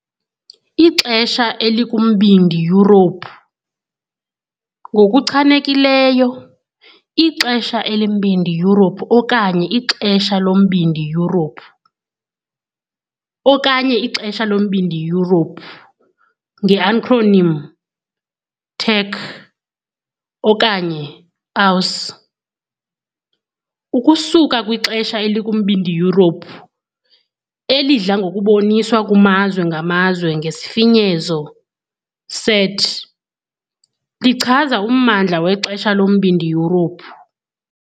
Ixesha elikuMbindi Yurophu - ngokuchanekileyo, ixesha eliMbindi Yurophu okanye iXesha loMbindi Yurophu okanye iXesha loMbindi Yurophu, nge-acronym TEC okanye OCE, ukusuka "kwixesha" elikuMbindi Yurophu, elidla ngokuboniswa kumazwe ngamazwe ngesifinyezo CET, - lichaza ummandla wexesha loMbindi Yurophu.